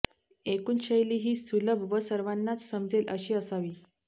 एकूण शैली ही सुलभ व सर्वांनाच समजेल अशी असावी